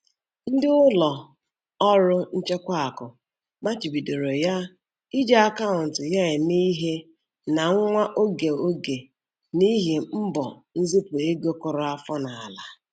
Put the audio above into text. Ndị ụlọ ọrụ nchekwa akụ machibidoro ya iji akaụntụ ya eme ihe na nwa oge oge n'ihi mbọ nzipụ ego kụrụ afọ n'ala.